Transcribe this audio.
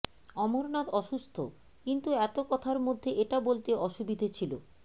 অমরনাথ অসুস্থ কিন্তু এত কথার মধ্যে এটা বলতে অসুবিধে ছিল